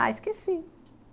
Ah, esqueci.